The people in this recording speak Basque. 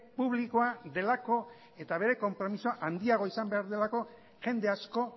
publikoa delako eta bere konpromezua handiagoa izan behar duelako jende asko